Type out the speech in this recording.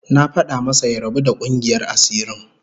Na fada masa ya rabu da kungiyar asirin